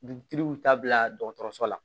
Dugutigi y'u ta bila dɔgɔtɔrɔso la